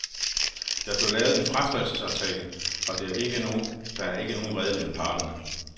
Der blev lavet en fratrædelsesaftale og at der er ikke nogen vrede mellem parterne.